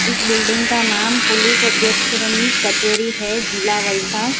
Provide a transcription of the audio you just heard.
इस बिल्डिंग का नाम पुलिस अध्यक्ष श्रीनी कचहरी है जिला वलसाड।